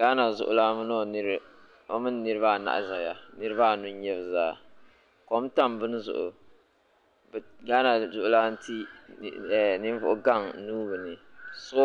Gaana zuɣulana o mini niriba anahi zaya niriba anu n-nyɛ bɛ zaa kom tam bini zuɣu Gana zuɣulana ti ninvuɣugaŋ nuu bɛ ni so